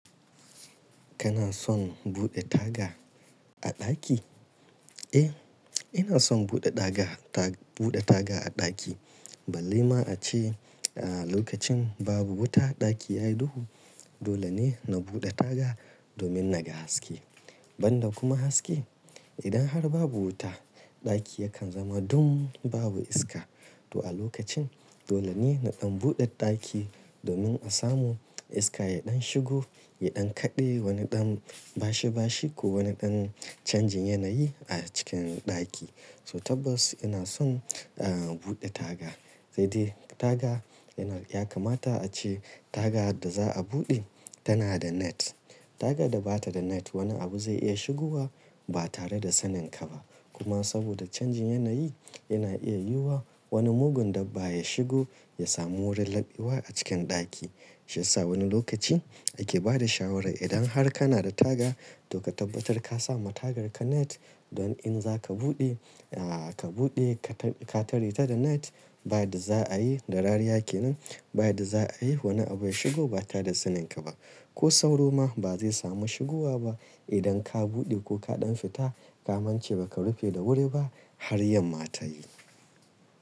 Kana son buɗe taga a ɗaki? Eh, ina son buɗe daga ta, buɗe taga a ɗaki. Ballai ma ace a lokacin babu wuta ɗaki yayi duhu. Dole ne na buɗe taga domin naga haske. Ban da kuma haske, idan har babu wuta ɗaki yakan zama dun, babu iska. To a lokacin dole ne naɗan buɗe ɗaki domin a samu iska yadan shigo, yadan kaɗe, wani ɗan bashi bashi ko wani ɗan chanjin yanayi a cikin ɗaki. So tabbas ina son a buɗe taga. Sai dai taga yana, ya kamata a ce taga da za a buɗe tana da net. Taga da bata da net wani abu zai iya shigowa ba tare da saninka ba. Kuma saboda chanjin yanayi yana iya yiwuwa wani mugun dabbba ya shigo, ya samu wurin laɓewa a cikin ɗaki. Shiyasa wani lokaci ake bada shawara idan har kana da taga to ka tabbatar ka sa ma tagarka net. Don in za ka buɗe, a ka buɗe ka tare ta da net ba da za a yi, da rariya kenan ba da za a yi wani abu ya shigo ba tare da saninka ba. Ko sauro ma ba zai samu shigowa ba idan ka buɗe ko kaɗan fita, ka amince baka rufe da wuri ba har yamma ta yi.